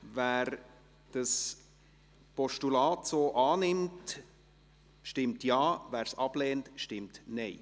Wer das Postulat so annimmt, stimmt Ja, wer es ablehnt, stimmt Nein.